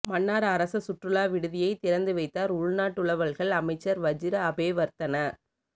மன்னார் அரச சுற்றுலா விடுதியை திறந்து வைத்தார் உள்நாட்டலுவல்கள் அமைச்சர் வஜிர அபேவர்த்தன